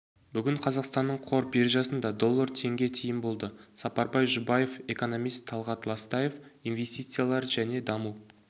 бүгін қазақстанның қор биржасында доллар теңге тиын болды сапарбай жұбаев экономист талғат ластаев инвестициялар және даму